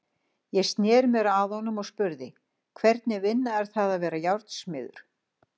Ég sneri mér að honum og spurði: Hvernig vinna er það að vera járnsmiður?